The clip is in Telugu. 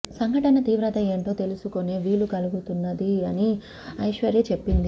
సంఘటన తీవ్రత ఏంటో తెలుసుకునే వీలు కలుగుతున్నది అని ఐశ్వర్య చెప్పింది